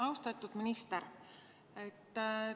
Austatud minister!